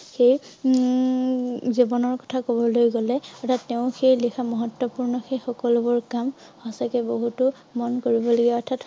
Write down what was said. সেই উম জীৱনৰ কথা কবলৈ গলে অৰ্থাৎ তেওঁ সেই লিখা মহত্তপূৰ্ণ সেই সকলো বোৰ কাম সঁচাকৈ বহুতো মন কৰিব লগীয়া অৰ্থাৎ